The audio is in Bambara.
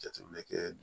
Jateminɛ kɛ